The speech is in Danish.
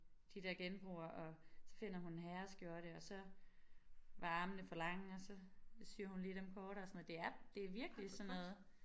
De der genbruger og så finder hun en herreskjorte og så var armene for lange og så syer hun lige dem kortere det er det virkelig sådan noget